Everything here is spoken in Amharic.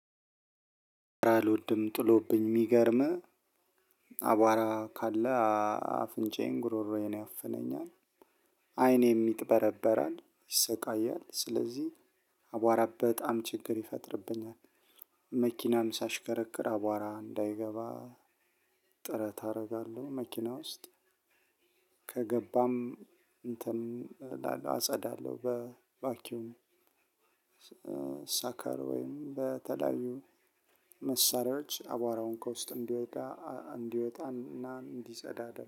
አልወድም ጥሎብኝ የሚገርምህ አቧራ ካለ አፍንጫዬን ጉሮሮዬን ያፍነኛል። አይን የሚጥበረበራል ይሰቃያል ስለዚህ አቧራ በጣም ችግር ይፈጥርብኛል። መኪናም ሳሽከረክር አቧራ እንዳይገባ ጥረት አደርጋለሁ። መኪና ውስጥ ከገባም እንትን እላለሁ አጸዳለሁ በባኪዩም። ሳካር ወይም በተለያዩ መሳሪያዎች አቧራውን ከውስጥ እንዲወጣ እንዲወጣና እንዲጸዳ አደረገ